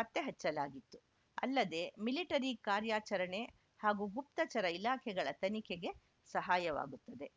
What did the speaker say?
ಪತ್ತೆ ಹಚ್ಚಲಾಗಿತ್ತು ಅಲ್ಲದೆ ಮಿಲಿಟರಿ ಕಾರ್ಯಾಚರಣೆ ಹಾಗೂ ಗುಪ್ತಚರ ಇಲಾಖೆಗಳ ತನಿಖೆಗೆ ಸಹಾಯವಾಗುತ್ತಿದೆ